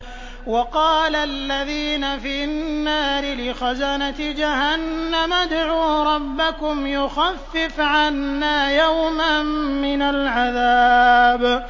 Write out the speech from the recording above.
وَقَالَ الَّذِينَ فِي النَّارِ لِخَزَنَةِ جَهَنَّمَ ادْعُوا رَبَّكُمْ يُخَفِّفْ عَنَّا يَوْمًا مِّنَ الْعَذَابِ